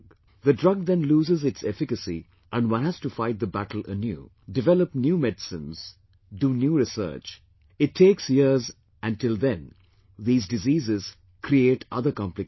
The drug then loses its efficacy and one has to fight the battle anew, develop new medicines, do new research; it takes years and till then these diseases create other complications